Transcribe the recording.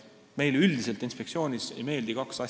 Meile üldiselt inspektsioonis ei meeldi kaks asja.